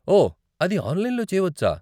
ఓ, అది ఆన్లైన్లో చేయవచ్చా?